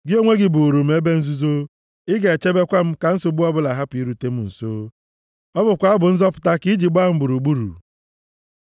Gị onwe gị bụụrụ m ebe nzuzo; Ị ga-echebekwa m ka nsogbu ọbụla hapụ irute m nso. Ọ bụkwa abụ nzọpụta ka i ji gbaa m gburugburu. Sela